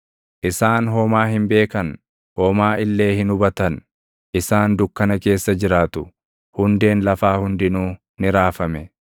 “Isaan homaa hin beekan; homaa illee hin hubatan. Isaan dukkana keessa jiraatu; hundeen lafaa hundinuu ni raafame.